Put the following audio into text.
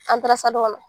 kɔnɔ